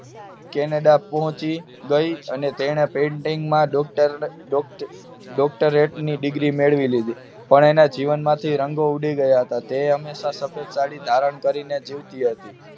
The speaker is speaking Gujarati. કેનેડા પહોંચી ગઈ painting માં ડોક્ટર ડોક્ટરહેડ ડીગ્રી મેળવી લીધી હતી પરંતુ એના જીવનમાંથી રંગો ઉડી ગયા હતા તે હંમેશા સફેદ સાડી ધારણ કરી ને જીવતી હતી